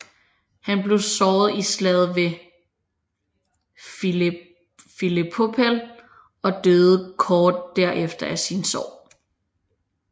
Han blev såret i slaget ved Philippopel og døde kort derefter af sine sår